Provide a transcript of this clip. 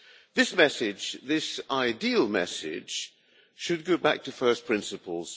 The message, this ideal message, should go back to first principles.